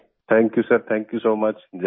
thank you sir thank you so much जय हिन्द